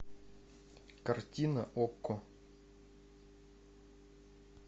картина окко